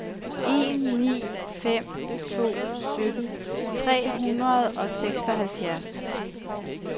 en ni fem to sytten tre hundrede og seksoghalvfjerds